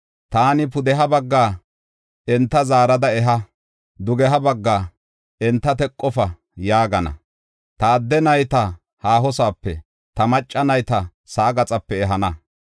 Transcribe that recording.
Taani pudeha baggaa, ‘Enta zaarada eha!’ dugeha baggaa, ‘Enta teqofa’ yaagana. Ta adde nayta haahosoope, ta macca nayta sa7aa gaxape ehana.